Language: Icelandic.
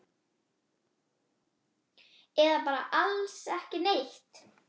Eða bara alls ekki neitt?